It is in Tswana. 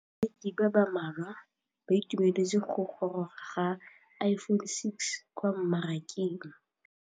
Bareki ba ba malwa ba ituemeletse go gôrôga ga Iphone6 kwa mmarakeng.